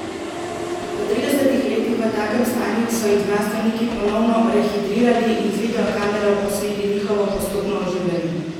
Po tridesetih letih v takem stanju so jih znanstveniki ponovno rehidrirali in z videokamero posneli njihovo postopno oživljanje.